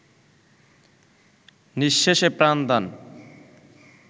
নিঃশেষে প্রাণদান